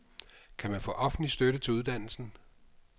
Kan man få offentlig støtte til uddannelsen?